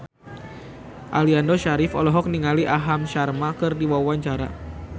Aliando Syarif olohok ningali Aham Sharma keur diwawancara